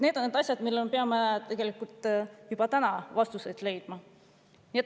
Need on need asjad, millele peame tegelikult juba täna vastuseid leidma.